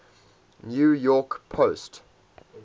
new york post